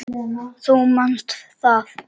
Þú manst það.